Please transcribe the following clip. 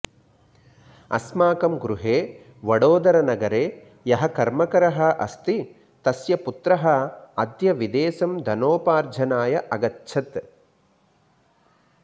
अस्माकं गृहे वडोदरानगरे यः कर्मकरः अस्ति तस्य पुत्रः अद्य विदेशम् धनोपार्जनाय अगच्छत्